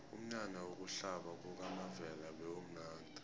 umnyanya wokuhlaba kukamavela bewumnadi